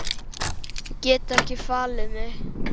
Get ekki falið mig.